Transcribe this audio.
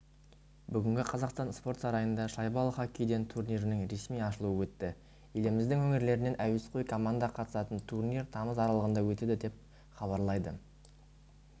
бүгін қазақстан спорт сарайында шайбалы хоккейден турнирінің ресми ашылуы өтті еліміздің өңірлерінен әуесқой команда қатысатын турнир тамыз аралығында өтеді деп хабарлайды